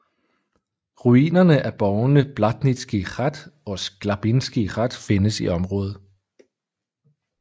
Ruinerne af borgene Blatnický hrad og Sklabinský hrad findes i området